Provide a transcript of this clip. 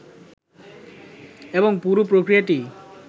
এবং পুরো প্রক্রিয়াটি